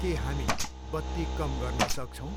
के हामी बत्ती कम गर्न सक्छौँ?